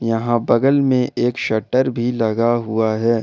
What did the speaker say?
यहां बगल में एक शटर भी लगा हुआ है।